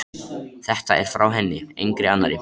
Þetta er frá henni, engri annarri.